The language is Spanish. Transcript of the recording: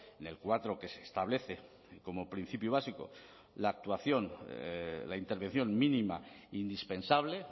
en el cuatro que se establece como principio básico la actuación la intervención mínima indispensable